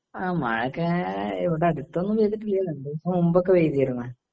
എഅ മഴ ഒക്കെ ഇവിടെ അടുത്തൊന്നും പെയ്തിട്ടില്ല. രണ്ടു ദിവസം മുന്നേ പെയ്തിരുന്നു.